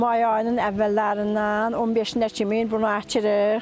May ayının əvvəllərindən 15-ə kimi bunu əkirik.